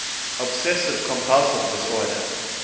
obsessive compulsive disorder